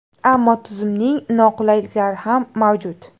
Ammo tizimning noqulayliklari ham mavjud.